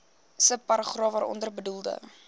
subparagraaf waaronder bedoelde